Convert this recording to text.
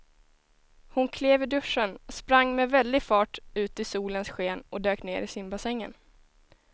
Hon klev ur duschen, sprang med väldig fart ut i solens sken och dök ner i simbassängen.